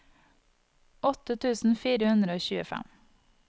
åtte tusen fire hundre og tjuefem